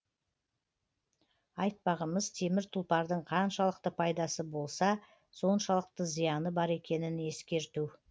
айтпағымыз темір тұлпардың қаншалықты пайдасы болса соншалықты зияны бар екенін ескерту